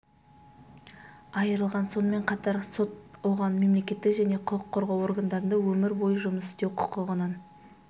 айырылған сонымен қатар сот оған мемлекеттік және құқық қорғау органдарында өмір бойы жұмыс істеу құқығынан